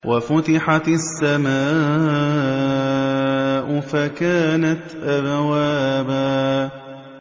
وَفُتِحَتِ السَّمَاءُ فَكَانَتْ أَبْوَابًا